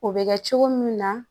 O bɛ kɛ cogo min na